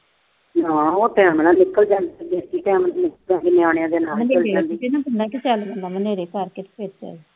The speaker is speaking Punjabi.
ਹਾਂ, ਉਹ ਤਾਂ ਹੈ, ਨਿਆਣਿਆਂ ਦੇ ਨਾਲ।